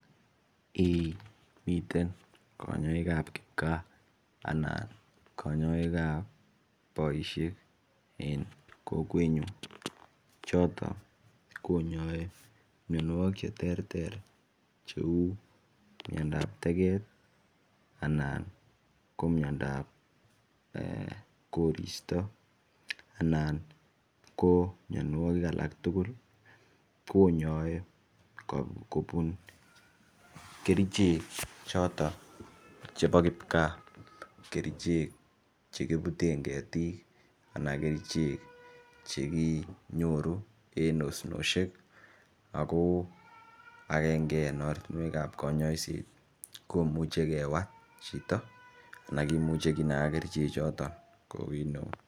Eh miten kanyaik ap kipka anan kanyaik ap poishek eng' kokwenyun, chotok konyai mianwagik che terter cheu miondoap teget anan ko miondonap korista anan ko mianwagik alak tugul konyai kopun kerichek chotok chepo kipka, Kerichek che kiputen ketik, kerichek che kinyoru eng' nosnoshek ako agenge en ortinwek ap kanyaiset komuchi kewal chito anan komuchi kinaga kerichechoton